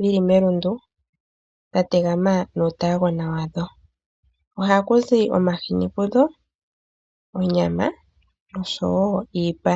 dhili melundu dhategama nuutaagona wadho. Ohapuzi omahini pudho ,onyama noshowo iipa.